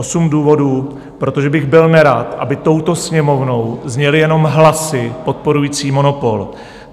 Osm důvodů, protože bych byl nerad, aby touto Sněmovnou zněly jenom hlasy podporující monopol.